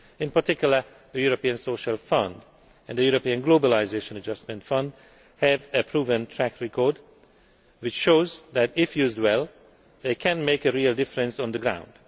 In particular, the European Social Fund and the European Globalisation Adjustment Fund have a proven track record which shows that, if used well, they can make a real difference on the ground.